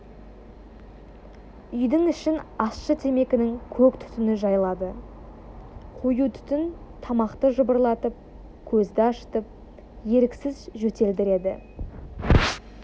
үйдің ішін ащы темекінің көк түтіні жайлады қою түтін тамақты жыбырлатып көзді ашытып еріксіз жөтелдіреді